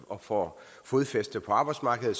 og får fodfæste på arbejdsmarkedet